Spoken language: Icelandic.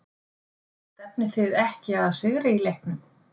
Stefnið þið ekki að sigri í leiknum?